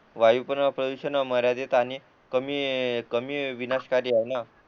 वायू पण प्रदूषण मर्यादित आणि कमी कमी विनाशकारी आहे न